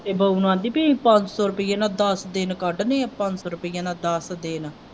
ਇਹ ਬਾਊ ਨੂੰ ਕਹਿੰਦੀ ਵੀ ਅਸੀਂ ਪੰਜ ਸੌ ਰੁਪਇਆ ਨਾਲ ਦੱਸ ਦਿਨ ਕੱਢ ਦੇ ਪੰਜ ਸੌ ਰੁਪਏ ਨਾਲ ਦੱਸ ਦਿਨ।